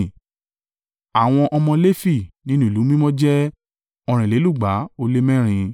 Àwọn ọmọ Lefi nínú ìlú mímọ́ jẹ́ ọ̀rìnlélúgba ó lé mẹ́rin (284).